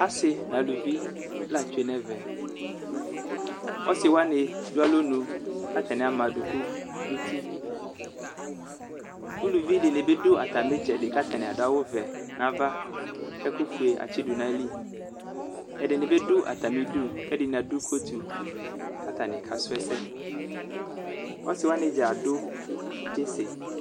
Asi nʋ alʋvi latsue nʋ ɛmɛ ɔsiwani dʋ alɔnʋ kʋ ama adʋkʋ nʋ uti ʋlʋvidini dʋ atami itsɛdi kʋ adʋ awʋvɛ nʋ ava kʋ ɛkʋfue atsidʋ nʋ ayili ɛdini bi dʋ atami idʋ kʋ ɛdini adʋ kotʋ kʋ atani kasʋ ɛsɛ ɔsiwani dza adv tsisi